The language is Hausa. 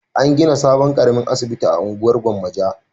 An gina sabon ƙaramin asibiti a unguwar Gwammaja.